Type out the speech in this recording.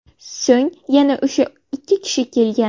So‘ng yana o‘sha ikki kishi kelgan.